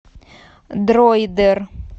дроидер